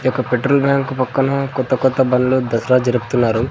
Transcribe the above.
ఈ యొక్క petrol bank పక్కన కొత్త కొత్త బండ్లు దసరా జరుపుతున్నారు.